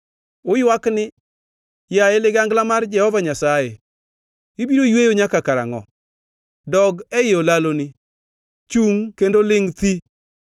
“Uywak ni, ‘Yaye ligangla mar Jehova Nyasaye, ibiro yweyo nyaka karangʼo? Dog ei olaloni; chungʼ kendo ilingʼ thi.’